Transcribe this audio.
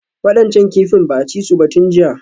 Waɗancan kifin ba a ci su ba tun jiya